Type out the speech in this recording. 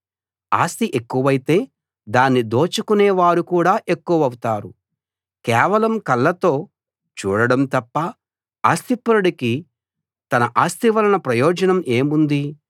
ఆస్తి ఎక్కువైతే దాన్ని దోచుకునే వారు కూడా ఎక్కువవుతారు కేవలం కళ్ళతో చూడడం తప్ప ఆస్తిపరుడికి తన ఆస్తి వలన ప్రయోజనం ఏముంది